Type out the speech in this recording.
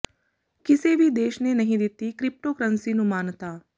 ਕਿਸੇ ਵੀ ਦੇਸ਼ ਨੇ ਨਹੀਂ ਦਿੱਤੀ ਕ੍ਰਿਪਟੋਕਰੰਸੀ ਨੂੰ ਮਾਨਤਾ